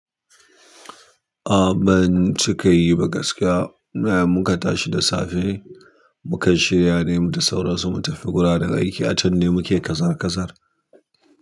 A ban cika yi bakaskiya. Na iya mun kata shi da safe, muka shirya ne mu tsoro su, mun tafi gura daga gida, can ne muke kazar kazar.